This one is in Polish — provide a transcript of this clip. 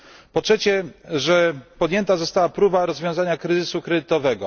Po trzecie, podjęta została próba rozwiązania kryzysu kredytowego.